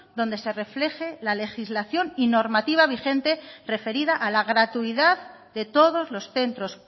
donde se refleje la legislación y normativa vigente referida a la gratuidad de todos los centros